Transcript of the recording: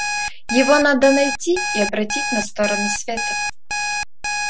его надо найти и обратить на сторону света